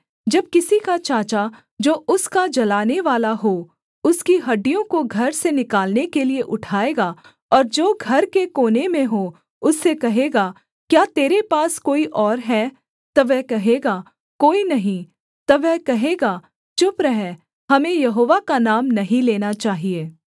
जब किसी का चाचा जो उसका जलानेवाला हो उसकी हड्डियों को घर से निकालने के लिये उठाएगा और जो घर के कोने में हो उससे कहेगा क्या तेरे पास कोई और है तब वह कहेगा कोई नहीं तब वह कहेगा चुप रह हमें यहोवा का नाम नहीं लेना चाहिए